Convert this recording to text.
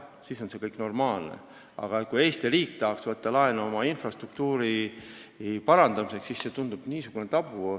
Siis on see kõik normaalne, aga kui Eesti riik tahaks võtta laenu oma infrastruktuuri parandamiseks, siis see tundub tabuna.